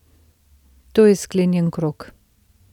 To je sklenjen krog.